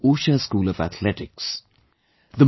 Usha's Usha School of Athletics